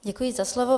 Děkuji za slovo.